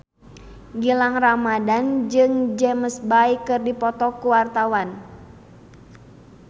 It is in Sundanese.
Gilang Ramadan jeung James Bay keur dipoto ku wartawan